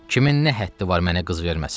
Kimin nə həddi var mənə qız verməsin?